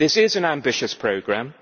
This is an ambitious programme.